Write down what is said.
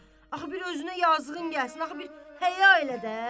Axı bir özünə yazığın gəlsin, axı bir həya elə də!